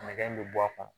Nɛgɛ in bɛ bɔ a kɔnɔ